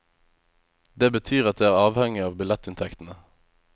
Det betyr at det er avhengig av billettinntektene.